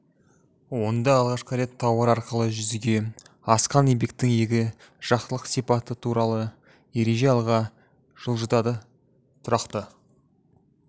онда алғашқы рет тауар арқылы жүзеге асқан еңбектің екі жақтылық сипаты туралы ереже алға жылжытылды тұрақты